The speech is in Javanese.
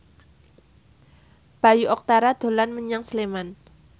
Bayu Octara dolan menyang Sleman